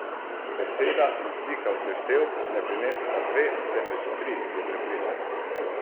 Beseda in slika v seštevku ne prineseta dve, temveč tri, je prepričana.